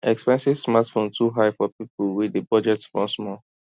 expensive smartphone too high for people wey dey budget small small